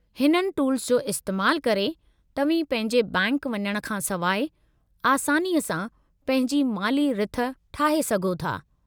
हिननि टूल्स जो इस्तेमालु करे, तव्हीं पंहिंजे बैंकि वञण खां सवाइ, आसानीअ सां पंहिंजी माली-रिथ ठाहे सघो था।